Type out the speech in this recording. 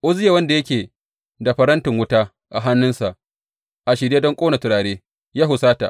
Uzziya wanda yake da farantin wuta a hannunsa a shirye don ƙone turare, ya husata.